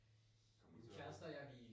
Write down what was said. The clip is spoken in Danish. Kan man